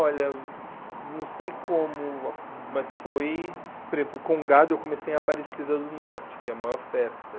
Olha, não sei como, mas foi... Por exemplo, Congado eu comecei em Aparecida do Norte, que é a maior festa.